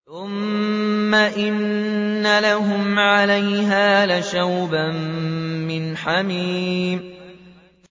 ثُمَّ إِنَّ لَهُمْ عَلَيْهَا لَشَوْبًا مِّنْ حَمِيمٍ